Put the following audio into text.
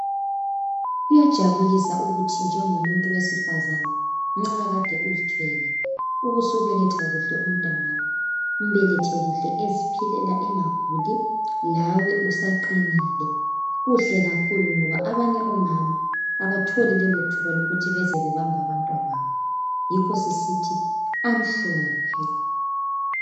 Kuyajabulisa ukuthi njengomuntu wesifazane ukuthinxa made uzithwele ubusubeketha kuhle umntanakho umbelethe kuhle eziphilela engaguli. lawe usaqinile .Kuhle kakhulu ngoba abanye omama abatholi ithuba lokuthi beze bebambe abantwababo Yikho sisithi "Amhlophe ".